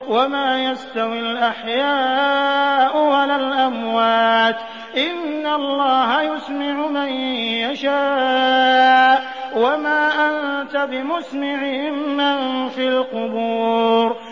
وَمَا يَسْتَوِي الْأَحْيَاءُ وَلَا الْأَمْوَاتُ ۚ إِنَّ اللَّهَ يُسْمِعُ مَن يَشَاءُ ۖ وَمَا أَنتَ بِمُسْمِعٍ مَّن فِي الْقُبُورِ